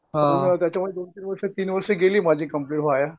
त्याच्यामुळे दोन तीन वर्ष तीन वर्ष माझी गेली कम्प्लिट वाया.